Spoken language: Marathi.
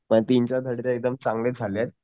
पण त्यांच्या साठी ते एकदम चांगले झालेत